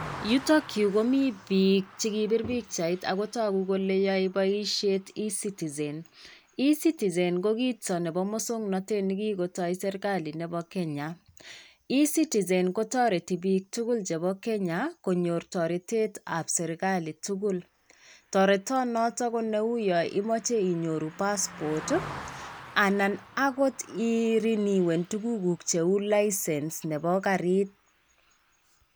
Yutokyu komi piik chi kipir pikchait ako toku kole yoei boisiet eCitizen, eCitizen ko kito nebo mosoknotet ni kikotoi Serikali nebo Kenya, eCitizen kotoreti piik tugul chebo Kenya konyor toretetab Serikali tugul. Toretonoto ko neu yo imoche inyoru passport ii, anan akot irinyuen tugukuk cheu licence nebo garit.